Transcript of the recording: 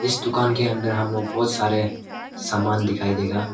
इस दुकान के अंदर हम लोग बहुत सारे सामान दिखाई देगा।